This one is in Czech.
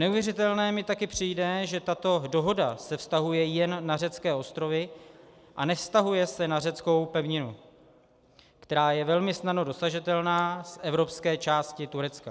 Neuvěřitelné mi taky přijde, že tato dohoda se vztahuje jen na řecké ostrovy a nevztahuje se na řeckou pevninu, která je velmi snadno dosažitelná z evropské části Turecka.